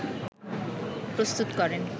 প্রস্তুত করেন